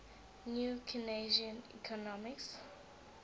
new keynesian economics